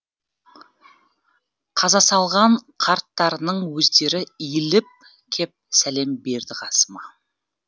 қазасалған қарттарының өздері иіліп кеп сәлем берді қасыма